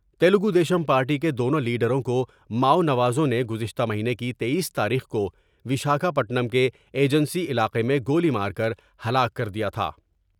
Telugu Desam party کے دونوں لیڈروں کو ماؤ نوازوں نے گزشتہ مہینے کی تییس تاریخ کو وشاکھا پٹنم کے ایجنسی علاقے میں گولی مارکر ہلاک کر دیا تھا ۔